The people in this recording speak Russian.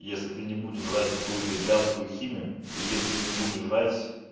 если ты не будешь жрать какую-то блядскую химию и если ты не будешь жрать с